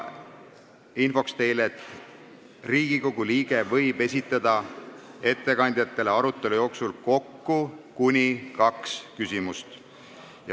Ütlen teile infoks, et Riigikogu liige võib esitada ettekandjatele arutelu jooksul kokku kuni kaks küsimust.